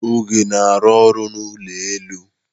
Oge na-arụ ọrụ n'ụlọ elu.